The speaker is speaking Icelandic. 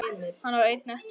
Hann var einn eftir.